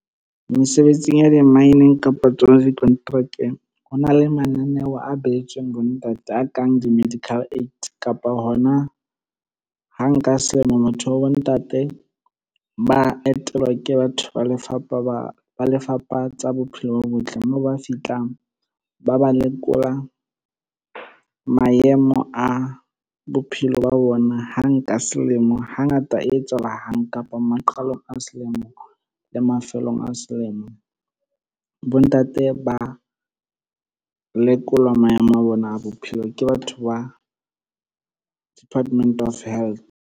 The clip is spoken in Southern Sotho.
Mesebetsing ya di-mine, kapa tsona dikonterakeng. Ho na le mananeo a behetsweng bo ntate a kang di-medical aid. Kapa hona ha nka selemo motho wa bo ntate ba etelwa ke batho ba lefapha ba, Lefapha la tsa bophelo bo botle. Mo ba fihlang ba ba lekola maemo a bophelo ba ona hang ka selemo. Hangata e etsahala hang, kapa maqalong a selemo le mafelong a selemo. Bo ntate ba lekolwa maemo a bona a bophelo ke batho ba Department of Health.